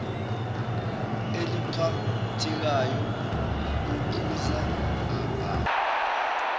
eliphathekayo kuphuzu aa